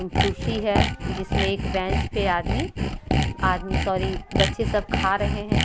कुर्सी है जिसमें एक बेंच पे आदमी आदमी सॉरी बच्चे सब खा रहें हैं।